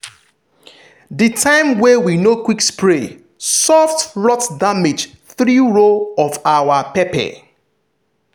the time wey we no quick spray soft rot damage three row of our pepper.